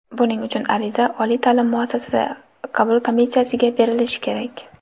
Buning uchun ariza oliy ta’lim muassasasi qabul komissiyasiga berilishi kerak.